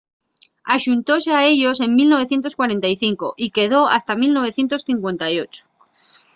axuntóse a ellos en 1945 y quedó hasta 1958